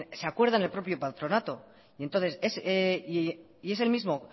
se acuerda en el propio patronato y es el mismo